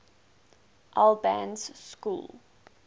albans school